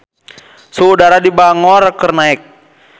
Suhu udara di Bangor keur naek